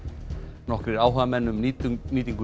nokkrir áhugamenn um nýtingu nýtingu